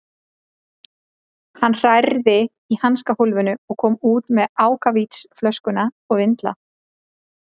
Hann hrærði í hanskahólfinu og kom út með ákavítisflösku og vindla.